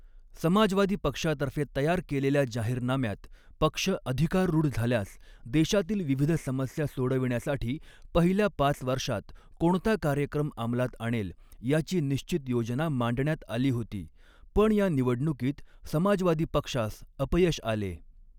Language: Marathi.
समाजवादी पक्षातर्फे तयार केलेल्या जाहीरनाम्यात पक्ष अधिकाररूढ झाल्यास देशातील विविध समस्या सोडविण्यासाठी पहिल्या पाच वषा॔त कोणता काय॔क्रम अमलात आणेल याची निश्चित योजना मांडण्यात आली होती पण या निवडणुकीत समाजवादी पक्षास अपयश आले.